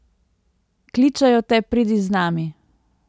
Kličejo te, pridi z nami!